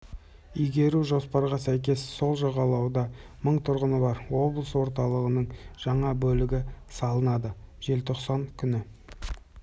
игеру жоспарға сәйкес сол жағалауда мың тұрғыны бар облыс орталығының жаңа бөлігі салынады желтоқсан күні